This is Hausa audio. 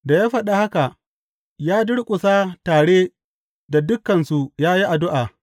Da ya faɗi haka, ya durƙusa tare da dukansu ya yi addu’a.